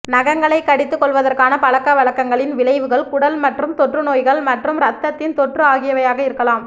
நகங்களைக் கடித்துக்கொள்வதற்கான பழக்கவழக்கங்களின் விளைவுகள் குடல் மற்றும் தொற்றுநோய்கள் மற்றும் இரத்தத்தின் தொற்று ஆகியவையாக இருக்கலாம்